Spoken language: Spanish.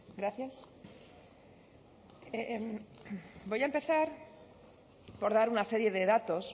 gracias voy a empezar por dar una serie de datos